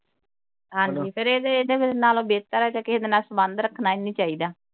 ਹਾਂ ਜੀ ਫੇਰ ਇਹਦੇ ਨਾਲੋਂ ਬਿਹਤਰ ਹੈ ਕਿਹੇ ਨਾਲ ਸੰਬੰਧ ਰੱਖਣਾ ਹੀ ਨਹੀ ਚਾਹੀਦਾ।